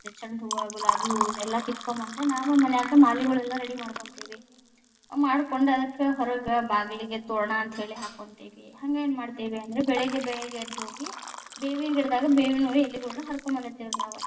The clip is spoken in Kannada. ಚಂಡಹೂವ, ಗುಲಾಬಿ ಹೂ ಇವ್ನೆಲ್ಲಾ ಕಿತ್ತಗೊಡ ಬಂದ ನಾವ್‌ ಮನ್ಯಾಗ ಮಾಲಿಗಳೆಲ್ಲಾ ready ಮಾಡ್ಕೊಂತೀವಿ, ಮಾಡ್ಕೊಂಡ ಅದಕ್ಕ ಹೊರಗ, ಬಾಗಿಲಿಗೆ ತೋರಣಾ ಅಂತ ಹೇಳಿ ಹಾಕ್ಕೊಂತೀವಿ, ಹಂಗ ಏನ್‌ ಮಾಡ್ತೀವಿ ಅಂದ್ರ ಬೆಳಗ್ಗೆ ಬೇಗ ಎದ್ದು ಹೋಗಿ ಬೇವಿನ ಗಿಡದಾಗ ಬೇವಿನ ಎಲಿಗುಳ್ನ ಹರಕೊಂಡ ಬಂದಿತೇ೯ವಿ ನಾವ್.